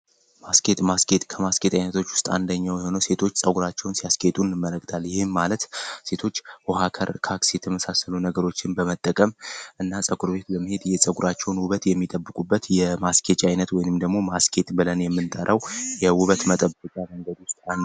ማስጌጥ ማስጌጥ ከማስጌጥ ዓይነቶች ውስጥ አንደኛው ሆነ ሴቶች ጸጉራቸውን ሲያስጌጡን መለግዳል ይህም ማለት ሴቶች ውሃከር ካክስ የተመሳሰሎ ነገሮችን በመጠቀም እና ጸኩር ቤት ለመሄድ የጸጉራቸውን ውበት የሚጠብቁበት የማስኬጅ ዓይነት ወይንም ደግሞ ማስኬት ብለን የምንጠራው የውበት መጠበቃ መንገድ ውስጥ ነው።